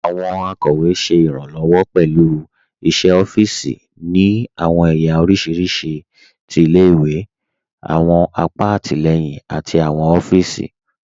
Àwọn akọwe ṣẹ irànlowọ pẹ̀lú iṣẹ̀ ọ̀fììsì ni àwọn èyà oríṣiríṣí tí ilẹ̀-ìwé, àwọn àpà àtilẹyìn àti àwọn ọ̀fíìsì.